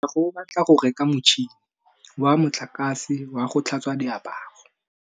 Katlego o batla go reka motšhine wa motlakase wa go tlhatswa diaparo.